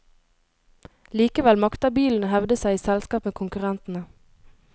Likevel makter bilen å hevde seg i selskap med konkurrentene.